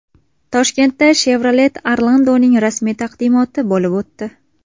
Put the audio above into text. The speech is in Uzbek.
Toshkentda Chevrolet Orlando‘ning rasmiy taqdimoti bo‘lib o‘tdi .